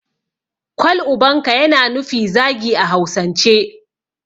Kwal ubanka' yana nufi zagi a hausance